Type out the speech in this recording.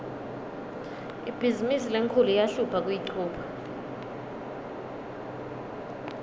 ibhizimisi lenkhulu iyahlupha kuyichuba